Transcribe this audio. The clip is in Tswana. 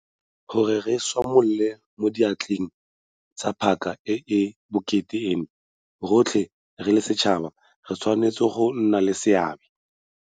Gore re tshwamole mo diatleng tsa paka e e bokete eno, rotlhe re le setšhaba re tshwanetse go nna le seabe.